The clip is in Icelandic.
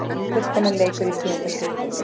Fullkominn leikur í tíunda skipti